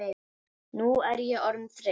Nú er ég orðin þreytt.